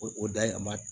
O o da yɛlɛma